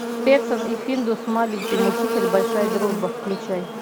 петсон и финдус маленький мучитель большая дружба включай